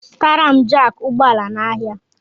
Zụtara m jaaki ụgbọala n'ahia!!!